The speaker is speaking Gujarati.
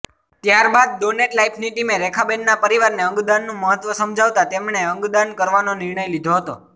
ત્યારબાદ ડોનેટ લાઈફની ટીમે રેખાબેનના પરિવારને અંગદાનનું મહત્ત્વ સમજાવતા તેમણે અંગદાન કરવાનો નિર્ણય લીધો હતો